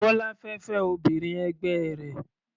Bọ́lá fẹ́ fẹ́ obìnrin ẹgbẹ́ rẹ̀.